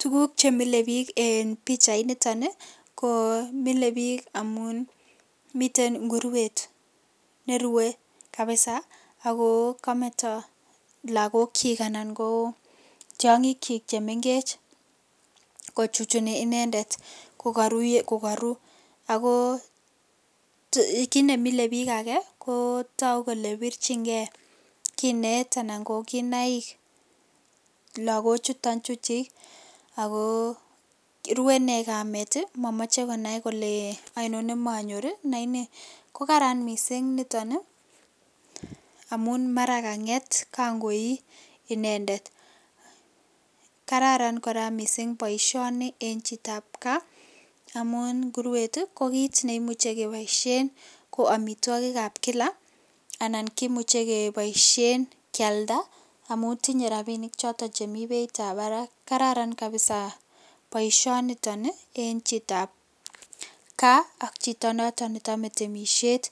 Tuguk chemile bik en pichainiton ii komile bik amun miten inguruet nerue kabisa ako kometo lagokchik , anan koo tiongikchi chemengech kochuchuni inendet kokoru, ako kit nemile bik koraa kotogu kele birchingee kinet anan ko kinaik lakochuton chuchik ako rue inee kamet momoche konai kole oinon nemonyor ii , kokaran missing' niton ii amun kanget kan koi inendet, kararan missing' boisioni en chitab kaa amun nguruet kokit neimuche keboishen ko omitwokikab kila anan kimuche keboishen kialda amun tinye rabinik choton chemi beitab barak, kararan kabisa boisioniton oi en chitab kaa ak chito noton nechome temishet ,